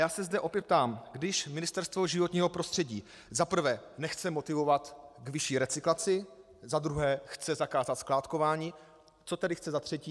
Já se zde opět ptám: Když Ministerstvo životního prostředí za prvé nechce motivovat ve vyšší recyklaci, za druhé chce zakázat skládkování, co tedy chce za třetí?